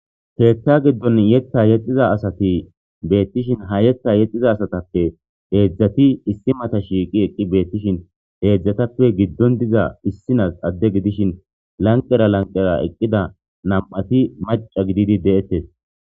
Keeththa giddon yeththa yexiza assati bettishshin ha yeththa yexiza assattappe heezhzhatti issi matta shiiqi eqidi xelishshin hedzdzattappe giddon diza issinas Ade gidiishshin lanqerra lanqerra eqidda nam'atti macca giididi de'tees